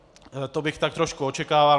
To bych tak trošku očekával.